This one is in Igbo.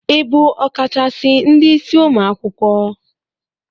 Ị bụ ọkachasị ndị isi ụmụ akwụkwọ?